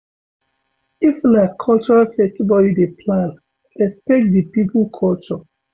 If na cultural festival you dey plan, respect di pipo culture